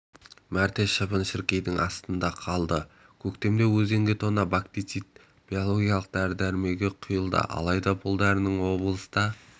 мәрте шыбын-шіркейдің астында қалды көктемде өзенге тонна бактицит биологиялық дәрі-дәрмегі құйылды алайда бұл дәрінің облыста